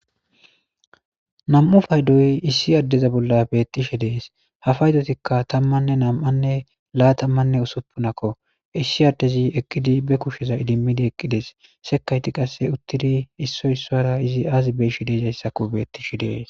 Nam7u faydoy issi addeza bolla bettishe dees hafaydotikka tammanne nam7anne laa tammanne usuppunakko issi addezi eqqidi be kushsheza idimmidi eqqides sekayti qasse uttidi issoy issora izi aazi beishi deesayssakko bettishi dees.